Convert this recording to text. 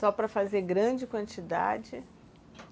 Só para fazer grande quantidade?